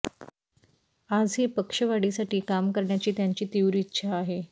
आजही पक्षवाढीसाठी काम करण्याची त्यांची तीव्र इच्छा आहे